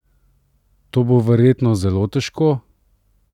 To bo verjetno zelo težko?